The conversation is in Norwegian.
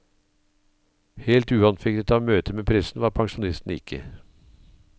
Helt uanfektet av møtet med pressen var pensjonisten ikke.